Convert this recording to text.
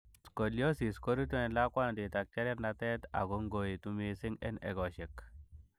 Scoliosis korutu en lakwantit ak cherernatet ako ngoitu missing en egosiek.